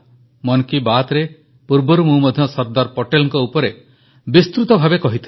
ମନ କୀ ବାତ୍ରେ ପୂର୍ବରୁ ମଧ୍ୟ ମୁଁ ସର୍ଦ୍ଦାର ପଟେଲଙ୍କ ଉପରେ ବିସ୍ତୃତ ଭାବେ କହିଥିଲି